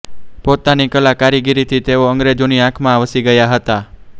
પોતાની કલા કારીગરીથી તેઓ અંગ્રેજોની આંખમાં વસી ગયા હતા